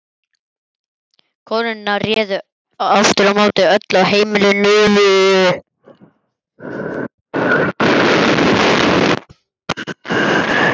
Konurnar réðu aftur á móti öllu á heimilinu.